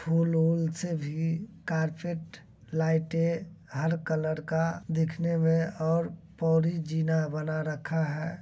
फूल-उल से भी कार्पेट लाइटे हर कलर का दिखने में और पौरी जीना बना रखा है।